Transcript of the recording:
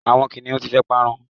àwọn kiniun ti fe parun